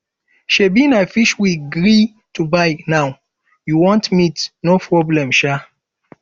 shebi na fish we gree to buy now you want meat no problem shaa